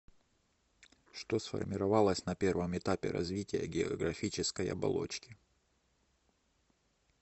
что сформировалось на первом этапе развития географической оболочки